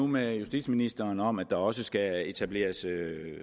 med justitsministeren om at der også skal etableres